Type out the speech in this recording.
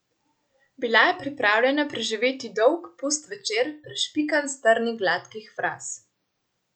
Bila je pripravljena preživeti dolg, pust večer, prešpikan s trni gladkih fraz.